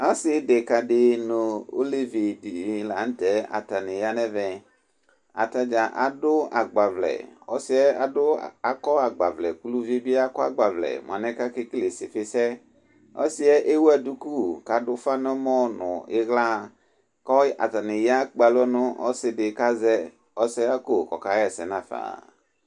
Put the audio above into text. Asideka nu alevi dini lanutɛ atani ya nu ɛvɛ atadza adu agbavlɛ uluvi e bi akɔ agbavlɛ ka kele isifisɛ ɔsiɛ ewu duku ka ufa niɣla katani ekpalɔ nu ɔsidikazɛ ɔsɛwa ko kɔ kawa nafa